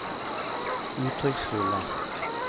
uttrykksfulle